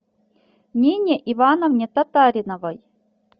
нине ивановне татариновой